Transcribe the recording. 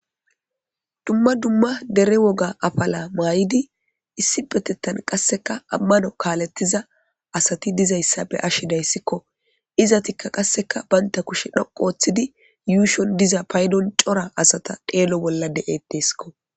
dumma dumma dere woga afala maa7idi issi betettan qasseka ammano kaalettiza asati dizayssa be ashidayssikko izatikka qasseka baynta kushe dhoqu ooththidi yuushon diza paydon cora asata deelo bollade7etteskko